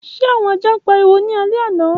Ṣe awọn aja n pariwo ni alẹ ana?